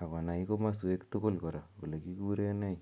akonai komasweek tugul kora kole kikure nee.